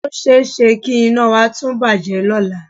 O ṣe é ṣe kí iná wa tún bàjẹ́ lọ́la